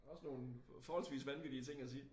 Og nogen forholdsvis vanvittige ting at sige